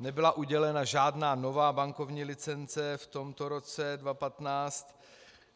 Nebyla udělena žádná nová bankovní licence, v tomto roce 2015